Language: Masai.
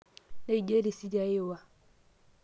neija risiti ai iwa